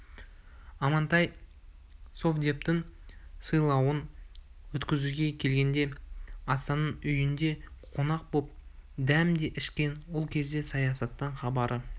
амантай совдептің сайлауын өткізуге келгенде асанның үйінде қонақ боп дәм де ішкен ол кезде саясаттан хабары